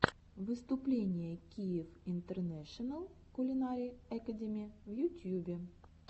выступление киев интернэшенал кулинари экэдими в ютьюбе